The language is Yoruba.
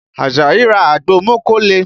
Àjàyí ra àgbo mókóle